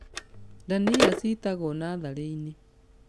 Ndania citagwo natharĩ-inĩ